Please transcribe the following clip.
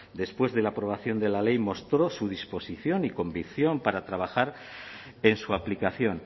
después de la aprobación de la ley mostró su disposición y convicción para trabajar en su aplicación